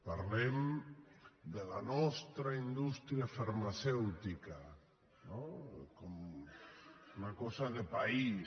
parlem de la nostra indústria farmacèutica no com una cosa de país